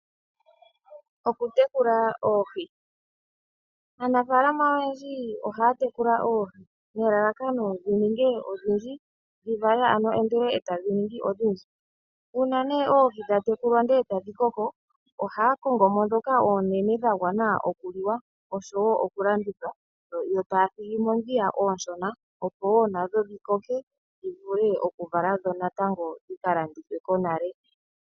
Aanafalama oyendji ohaatekula oohi, nelalakano dhivalathane dhodhi ninge odhindji. Uuna oohi dha tekulwa ndele etadhikoko aanafalama ohaakongomo oohi ndhoka oonene dha gwana okuliwa nosho woo okulandithwa yo taathigimo oohi ndhi ooshona opo woo nadho dhikoke dhivule okukalandithwa konale .